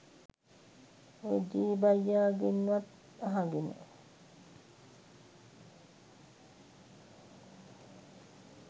ඔය ජේ බයියගෙන් වත් අහගෙන